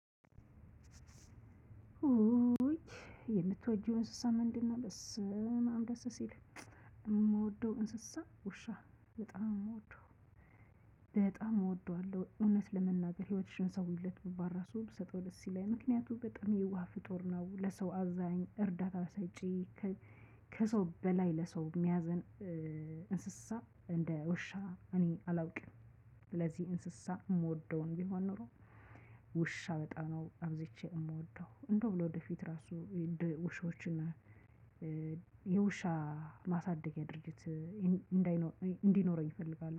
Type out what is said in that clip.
ኡይ የምትወጂው እንስሳ ምንድነው? በስማም ደሰ ሲል የምወደው እንስሳ ውሻ በጣም ነው የምወደው። በጣም እወደዋለሁ እውነት ለመናገር ህይወትሽን ሰውይለት ብባል ራሱ ብሰጠው ደስ ይለኛል ምክንያቱም በጣም የዋህ ፍጡር ነው ለሰው አዛኝ እርዳታ ሰጪ። ከሰው በላይ ለሰው የሚያዘን። እንስሳ እንደ ውሻ እኔ አላውቅም። ስለዚህ እንስሳ የምወደውን ቢሆን ኖሮ። ውሻ በጣም ነው አብዝቼ የምወደው እንደውም ለወደፊት ራሱ እንደ ውሾችን የውሻ ማሳደጊያ ድርጅት እንዳይኖር እንዲኖረኝ እፈልጋለሁ